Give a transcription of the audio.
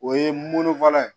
O ye mɔnnifala ye